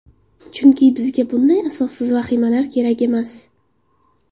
Chunki bizga bunday asossiz vahimalar kerak emas.